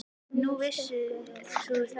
Nú, vissir þú það?